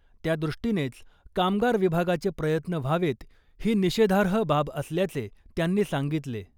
त्यादृष्टीनेच कामगार विभागाचे प्रयत्न व्हावेत ही निषेधार्ह बाब असल्याचे त्यांनी सांगितले .